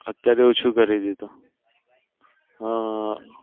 અત્યાર ઓછું કરી દીધું હમ